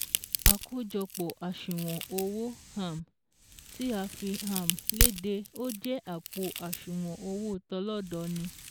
Àkójọpọ̀ àṣùwọ̀n owó um tí a fi um léde ó jẹ́ àpò àṣùwọ̀n owó tọlọ́dọọni